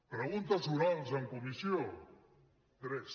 preguntes orals en comissió tres